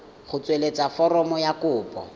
go tsweletsa foromo ya kopo